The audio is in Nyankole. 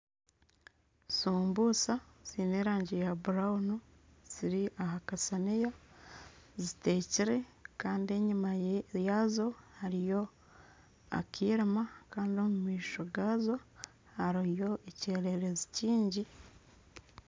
Sumbusa ziine erangi ya burawunu, ziri aha kasaniya zitekire kandi enyima yaazo hariyo akarima kandi omu maisho gaazo hariyo ekyererezi kingi